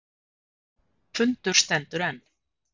Fundur stendur enn